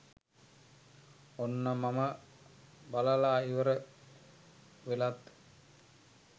ඔන්න මම බලලා ඉවර වෙලත්